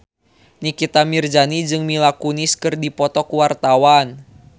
Nikita Mirzani jeung Mila Kunis keur dipoto ku wartawan